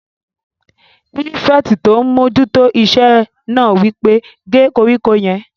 Pírífẹ̀tì tó n mójú tó iṣẹ́ náà wí pé "gé koríko yẹn!"